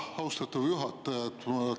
Austatud juhataja!